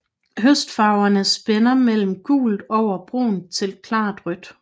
Høstfarverne spænder mellem gult over brunt til klart rødt